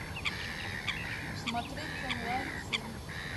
смотреть онлайн фильм